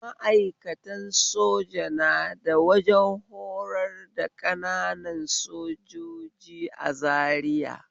Ma'aikatan soja na da wajen horar da ƙananan sojoji a Zariya